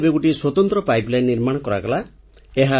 କିନ୍ତୁ ଏବେ ଗୋଟିଏ ସ୍ୱତନ୍ତ୍ର ପାଇପଲାଇନ୍ ନିର୍ମାଣ କରାଗଲା